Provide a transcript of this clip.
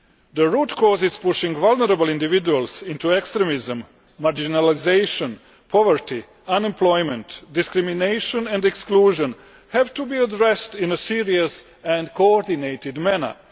The root causes pushing vulnerable individuals into extremism marginalisation, poverty, unemployment, discrimination and exclusion have to be addressed in a serious and coordinated manner.